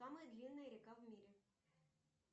самая длинная река в мире